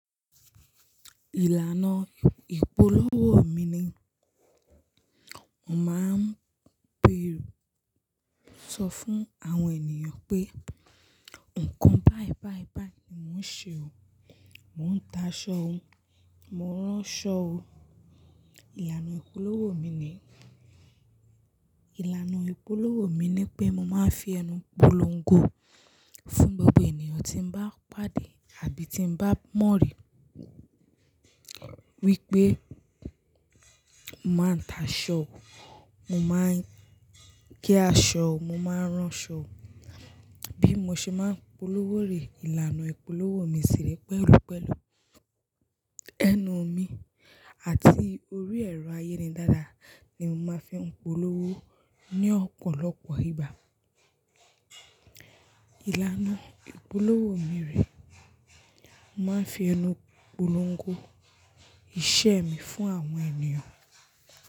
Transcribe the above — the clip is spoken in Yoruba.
Ìlànà ìpolówó mi ni mo máa ń bèrù. Sọ fún àwọn ènìyàn pé nǹkan báì báì báì ni mò ń ṣe o. Mò ń ta aṣọ o, mo ń rán ṣọ o. Ìlànà ìpolówó mi ni, ìlànà ìpolówó mi ni pé mo máa ń fi ẹnu polongo fún gbogbo ènìyàn tí bá pàdé àbí tí bá mọ̀rí. Wípé mo máa ń ta aṣọ o, mo máa ń gé aṣọ o, mo máa ń rán ṣọ o. Bí mo ṣe máa ń polówó rè, ìlànà ìpolówó mi sì rẹ pẹ̀lú pẹ̀lú. Ẹnu mi àti orí ẹ̀rọ ayélujára ni mo máa ń fi ń polówó ní ọ̀pọ̀lọpọ̀ ìgbà. Ìlànà ìpolówó mi rè, mo máa ń fi ẹnu polongo iṣẹ́ mi fún àwọn ènìyàn.